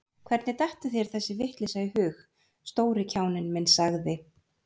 Hvernig dettur þér þessi vitleysa í hug, stóri kjáninn minn sagði